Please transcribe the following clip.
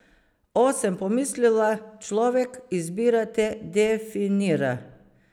O, sem pomislila, človek, izbira te definira.